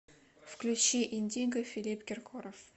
включи индиго филипп киркоров